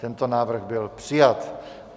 Tento návrh byl přijat.